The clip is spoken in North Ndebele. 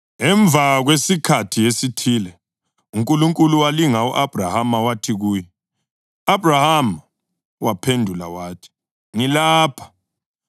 Emva kwesikhathi esithile uNkulunkulu walinga u-Abhrahama. Wathi kuye, “Abhrahama!” Waphendula wathi, “Ngilapha.”